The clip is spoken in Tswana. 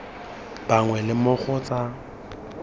bangwe le mo go tsa